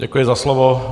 Děkuji za slovo.